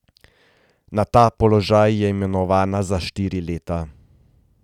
Na ta položaj je imenovana za štiri leta.